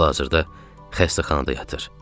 Hal-hazırda xəstəxanada yatır.